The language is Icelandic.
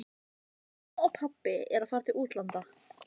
Reykjavíkursvæðisins var komið á laggirnar á